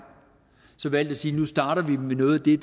så valgt at sige nu starter med noget af det